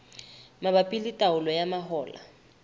mabapi le taolo ya mahola